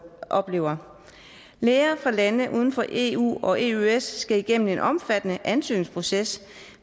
oplever læger fra lande udenfor eu og eøs skal igennem en omfattende ansøgningsproces